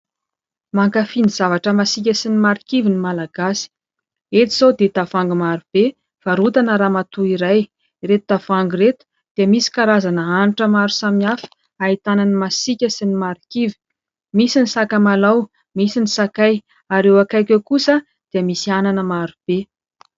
Mankafỳ ny zavatra masiaka sy ny marikivy ny Malagasy. Eto izao dia tavoahangy maro be varotana ramatoa iray. Ireto tavoahangy ireto dia misy karazana hanitra maro samihafa ahitana ny masiaka sy ny marikivy. Misy ny sakamalao, misy ny sakay ary eo akaiky eo kosa dia misy anana maro be.